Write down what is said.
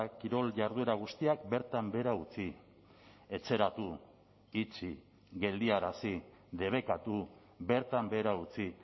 kirol jarduera guztiak bertan behera utzi etxeratu itxi geldiarazi debekatu bertan behera utzi